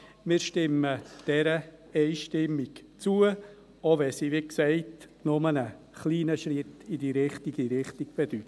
Wir stimmen dieser einstimmig zu, selbst wenn sie – wie gesagt – nur ein kleiner Schritt in die richtige Richtung bedeutet.